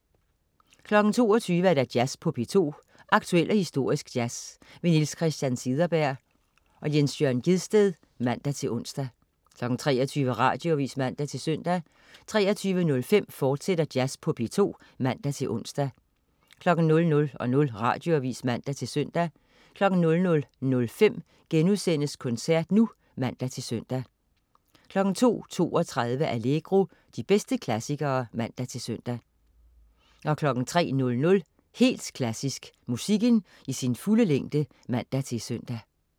22.00 Jazz på P2. Aktuel og historisk jazz. Niels Christian Cederberg/Jens Jørn Gjedsted (man-ons) 23.00 Radioavis (man-søn) 23.05 Jazz på P2, fortsat (man-ons) 00.00 Radioavis (man-søn) 00.05 Koncert nu* (man-søn) 02.32 Allegro. De bedste klassikere (man-søn) 03.00 Helt Klassisk. Musikken i sin fulde længde (man-søn)